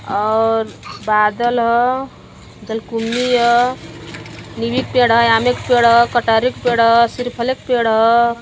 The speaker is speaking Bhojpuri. और बादल ह जलकुम्भी ह नीम्बी के पेड़ ह आम क पेड़ ह सिर्फल के पपेड़ ह |